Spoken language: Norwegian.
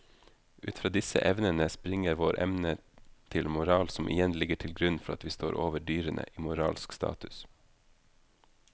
Ut fra disse evnene springer vår evne til moral som igjen ligger til grunn for at vi står over dyrene i moralsk status.